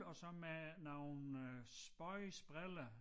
Og så med nogle øh spøjse briller